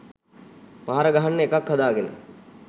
පහර ගහන්න එකක් හදාගෙන